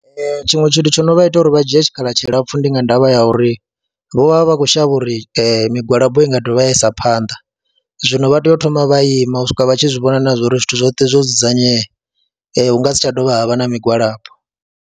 Ee, tshiṅwe tshithu tsho no vha ita uri vha dzhie tshikhala tshilapfhu ndi nga ndavha ya uri vho vha vha vha khou shavha uri migwalabo I nga dovha ya isa phanḓa, zwino vha tea u thoma vha ima u swika vha tshi zwi vhona na zwa uri zwithu zwoṱhe zwo dzudzanyea, hu nga si tsha dovha ha vha na migwalabo.